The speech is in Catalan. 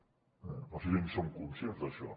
no sé si en som conscients d’això